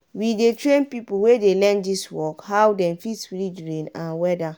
we dey train pipo wey dey learn dis work how dem fit read rain and weada.